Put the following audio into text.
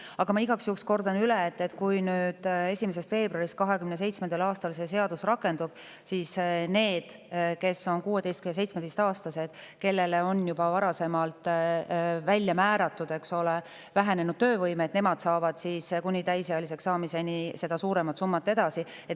Aga ma igaks juhuks kordan üle, et kui 1. veebruarist 2027. aastal see seadus rakendub, siis need, kes on 16–17-aastased ja kellele on juba varasemalt määratud vähenenud töövõime, saavad kuni täisealiseks saamiseni seda suuremat summat edasi.